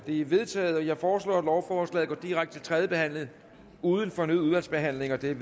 er vedtaget jeg foreslår at lovforslaget går direkte til tredje behandling uden fornyet udvalgsbehandling det er